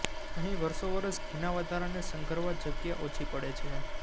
અહી વરસોવરસ ઘીના વધારાને સંઘરવા જગ્યા ઓછી પડે છે